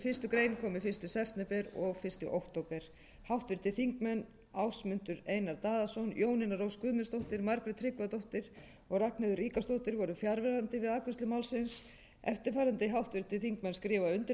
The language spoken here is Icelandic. fyrsta september og fyrsta október háttvirtir þingmenn ásmundur einar daðason jónína rós guðmundsdóttir margrét tryggvadóttir og ragnheiður ríkharðsdóttir voru fjarverandi við afgreiðslu málsins eftirfarandi háttvirtir þingmenn skrifa undir